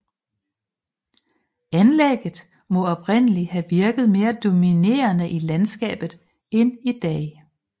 Anlægget må oprindelig have virket mere dominerende i landskabet end i dag